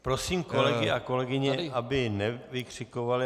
Prosím kolegyně a kolegyně, aby nevykřikovali.